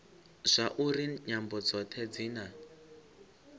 zwauri nyambo dzothe dzi na